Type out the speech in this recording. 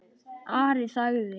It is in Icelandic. Ari þagði.